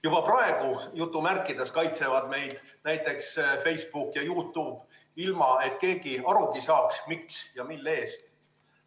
Juba praegu "kaitsevad" meid näiteks Facebook ja YouTube, ilma et keegi arugi saaks, miks ja mille eest.